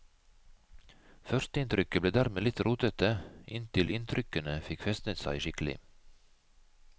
Førsteinntrykket ble dermed litt rotete, inntil inntrykkene fikk festnet seg skikkelig.